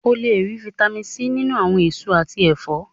O lè rí Fitami C nínú àwọn èso àti ẹ̀fọ́.